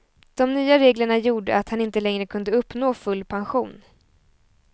De nya reglerna gjorde att han inte längre kunde uppnå full pension.